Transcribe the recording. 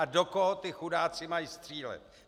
A do koho ti chudáci mají střílet?